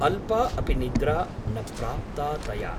अल्पा अपि निद्रा न प्राप्ता तया ।